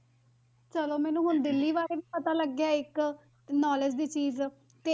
ਚਲੋ ਮੈਨੂੰ ਹੁਣ ਦਿੱਲੀ ਬਾਰੇ ਵੀ ਪਤਾ ਲੱਗ ਗਿਆ ਇੱਕ, ਤੇ knowledge ਦੀ ਚੀਜ਼